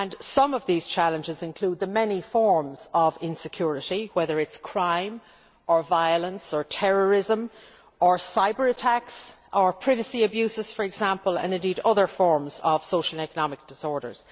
Some of those challenges include the many forms of insecurity, whether it is crime or violence or terrorism or cyber attacks or privacy abuses for example and indeed other forms of social and economic disorder.